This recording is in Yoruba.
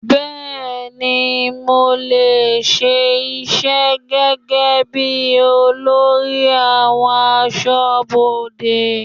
Bẹẹni, mo lè ṣe iṣẹ́ gẹ́gẹ́bí olórí àwọn aṣọ́bodè.